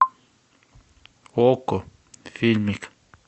окко фильмик